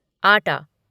आटा